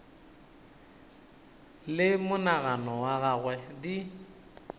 le monagano wa gagwe di